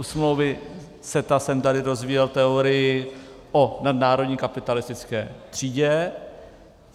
U smlouvy CETA jsem tady rozvíjel teorii o nadnárodní kapitalistické třídě.